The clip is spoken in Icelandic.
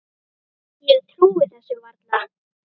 Ég trúi þessu varla